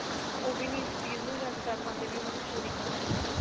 ਉਹ ਵੀ ਨਹੀਂ ਇਸ ਚੀਜ ਨੂੰ judge ਕਰ ਪਾਂਦੇ ਵੀ ਉਹਨਾਂ ਨੇ ਚੋਰੀ ਕਿੱਦਾਂ ਕੀਤੀ ਏ